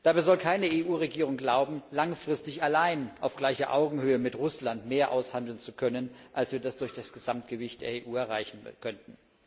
Dabei soll keine EU Regierung glauben, langfristig allein auf gleicher Augenhöhe mit Russland mehr aushandeln zu können, als wir das durch das Gesamtgewicht der EU erreichen können.